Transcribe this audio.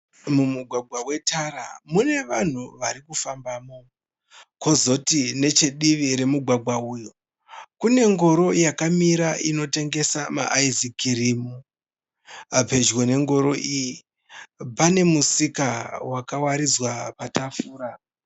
Mumugwagwa wetara mune vanhu varikufambamo. Kozoti nechedivi remugwagwa uyu kune ngoro yakamira inotengesa ma 'ice cream'. Pedyo nengoro iyi panemusika wakawaridzwa patafura.